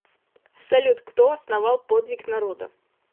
салют кто основал подвиг народа